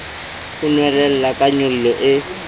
e nwelella ka nyollo e